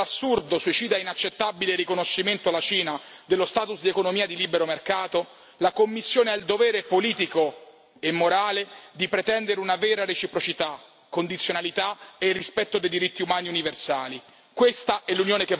Piuttosto che proporre l'assurdo, suicida e inaccettabile riconoscimento alla Cina dello status di economia di libero mercato, la Commissione ha il dovere politico e morale di pretendere una vera reciprocità, condizionalità e rispetto dei diritti umani universali.